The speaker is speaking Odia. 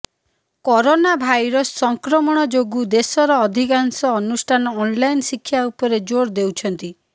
କରୋନା ଭାଇରସ୍ ସଂକ୍ରମଣ ଯୋଗୁଁ ଦେଶର ଅଧିକାଂଶ ଅନୁଷ୍ଠାନ ଅନଲାଇନ୍ ଶିକ୍ଷା ଉପରେ ଜୋର ଦେଉଛନ୍ତି